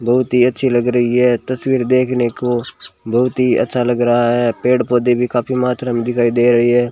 बहुत ही अच्छी लग रही है तस्वीर देखने को बहुत ही अच्छा लग रहा है पेड़ पौधे भी काफी मात्रा में दिखाई दे रही है।